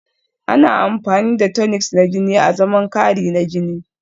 Ana amfani da tonics na jini azaman kari na jini